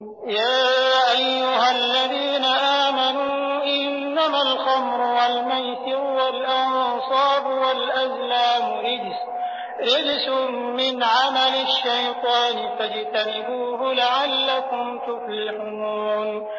يَا أَيُّهَا الَّذِينَ آمَنُوا إِنَّمَا الْخَمْرُ وَالْمَيْسِرُ وَالْأَنصَابُ وَالْأَزْلَامُ رِجْسٌ مِّنْ عَمَلِ الشَّيْطَانِ فَاجْتَنِبُوهُ لَعَلَّكُمْ تُفْلِحُونَ